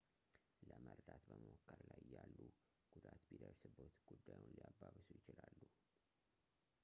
ለመርዳት በመሞከር ላይ እያሉ ጉዳት ቢደርስብዎት ጉዳዩን ሊያባብሱ ይችላሉ